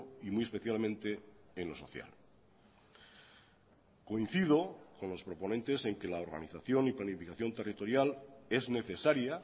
y muy especialmente en lo social coincido con los proponentes en que la organización y planificación territorial es necesaria